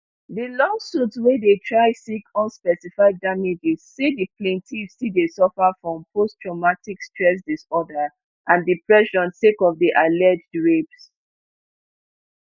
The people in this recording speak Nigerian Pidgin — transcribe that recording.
di lawsuit wey dey try seek unspecified damages say di plaintiff still dey suffer from posttraumatic stress disorder and depression sake of di alleged rapes